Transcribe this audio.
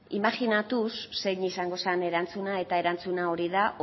imajinatuz zein izango zen erantzuna eta erantzuna hori da